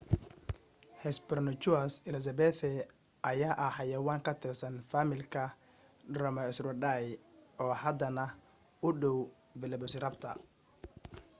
hesperonychus elizabethae ayaa ah xayawaan ka tirsan faamilka dromaeosauridae oo hadana u dhaw velociraptor